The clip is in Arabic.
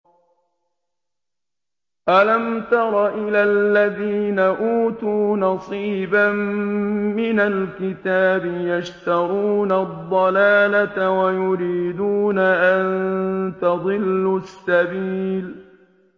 أَلَمْ تَرَ إِلَى الَّذِينَ أُوتُوا نَصِيبًا مِّنَ الْكِتَابِ يَشْتَرُونَ الضَّلَالَةَ وَيُرِيدُونَ أَن تَضِلُّوا السَّبِيلَ